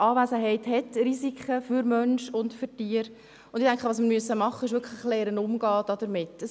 Ihre Anwesenheit hat Risiken für Mensch und Tier, und ich denke, wir müssen wirklich lernen, damit umzugehen.